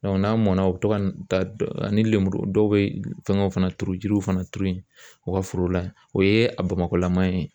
n'a mɔnna u bɛ to ka taa ani lenburu dɔw bɛ fɛngɛw fana turu jiriw fana turu u ka foro la o ye a bamakɔlama ye